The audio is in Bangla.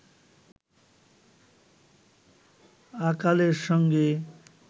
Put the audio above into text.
আকালের সঙ্গে